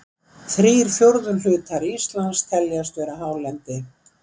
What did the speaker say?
Þrír fjórðu hlutar Íslands teljast vera hálendi.